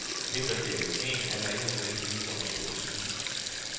Vinterferie i sneen handler ikke nødvendigvis om at stå på ski.